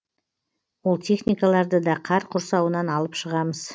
ол техникаларды да қар құрсауынан алып шығамыз